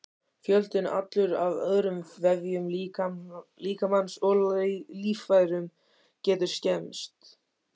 Fjöldinn allur af öðrum vefjum líkamans og líffærum getur skemmst.